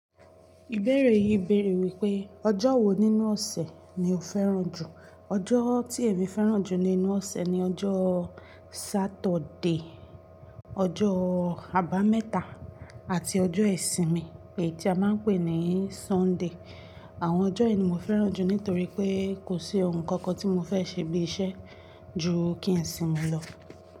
Ìbéèrè yìí bèèrè wípé ọjọ́ wo nínú ọ̀sẹ̀ ni o fẹ́ràn jù? Ọjọ́ tí èmi fẹ́ràn jù nínú ọ̀sẹ̀ ni ọjọ́ Saturday, ọjọ́, àbámẹ́ta àti ọjọ́ Isinmi èyí tí a máa ń pè ní Sunday. Àwọn ọjọ́ yìí ni mo fẹ́ràn jù nítorí pé kò sí ohun kan kan tí mo fẹ́ ṣe bí iṣẹ́ ju kí n sì mi lọ.